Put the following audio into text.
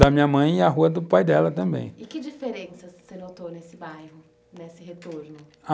Da minha mãe e a rua do pai dela também. E que diferença você notou nesse bairro, nesse retorno? Ah,